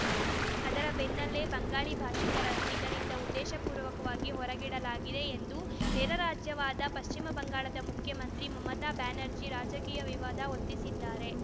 ಅದರ ಬೆನ್ನಲ್ಲೇ ಬಂಗಾಳಿ ಭಾಷಿಕರನ್ನು ಇದರಿಂದ ಉದ್ದೇಶಪೂರ್ವಕವಾಗಿ ಹೊರಗಿಡಲಾಗಿದೆ ಎಂದು ನೆರೆರಾಜ್ಯವಾದ ಪಶ್ಚಿಮ ಬಂಗಾಳದ ಮುಖ್ಯಮಂತ್ರಿ ಮಮತಾ ಬ್ಯಾನರ್ಜಿ ರಾಜಕೀಯ ವಿವಾದ ಹೊತ್ತಿಸಿದ್ದಾರೆ